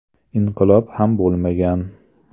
Inqilob ham bo‘lmagan.